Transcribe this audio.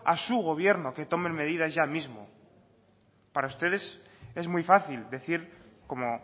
a su gobierno que tome medidas ya mismo para ustedes es muy fácil decir como